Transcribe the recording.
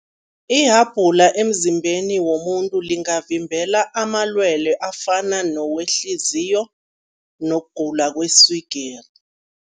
Ihabhula emzimbeni womuntu lingavimbela amalwele afana nowehliziyo nokugula kweswigiri.